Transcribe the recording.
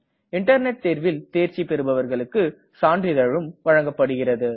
internet தேர்வில் தேர்ச்சி பெருபவர்களுக்கு சான்றிதழும் வழங்கப்படுகிறது